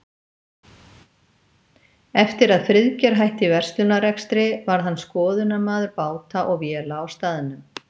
Eftir að Friðgeir hætti verslunarrekstri varð hann skoðunarmaður báta og véla á staðnum.